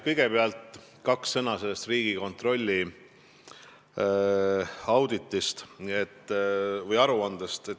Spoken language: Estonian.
Kõigepealt kaks sõna sellest Riigikontrolli auditist või aruandest.